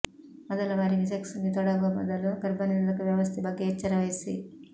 ಮೊದಲ ಬಾರಿಗೆ ಸೆಕ್ಸ್ ಗೆ ತೊಡಗುವ ಮೊದಲು ಗರ್ಭನಿರೋಧಕ ವ್ಯವಸ್ಥೆ ಬಗ್ಗೆ ಎಚ್ಚರವಹಿಸಿ